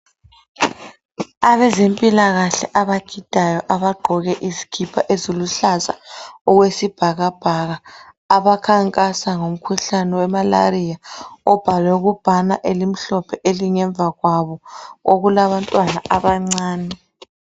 Abezempilakahle abagidayo abagqoke izikipa eziluhlaza okwesibhakabhaka abakhankasa ngomkhuhlane wemalariya obhalwe kubhakane elimhlophe elingemva kwabo okulabantwana abancane